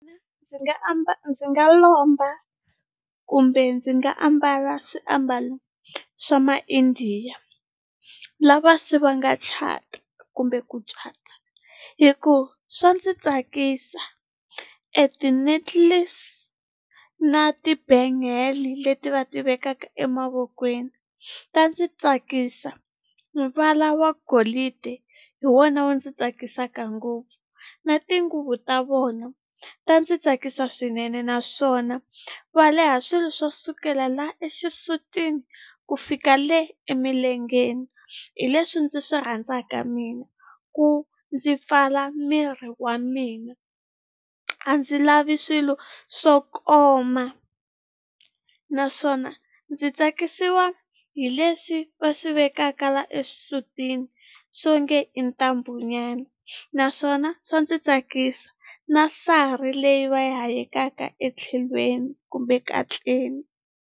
Ndzi nga ndzi nga lomba kumbe ndzi nga ambala swiambalo swa ma-Indiya lava se va nga kumbe ku cata hikuva swa ndzi tsakisa e ti-necklace na ti-bangle leti va ti vekaka emavokweni ta ndzi tsakisa valava golidi hi wona wu ndzi tsakisaka ngopfu na tinguvu ta vona ta ndzi tsakisa swinene naswona va leha swilo swo sukela la exisutini ku fika le emilengeni hi leswi ndzi swi rhandzaka mina ku ndzi pfala miri wa mina a ndzi lavi swilo swo koma naswona ndzi tsakisiwa hi leswi va swi vekaka la exisutini swo nge i ntambu nyana naswona swa ndzi tsakisa na sari leyi va yi hayekaka etlhelweni kumbe katleni.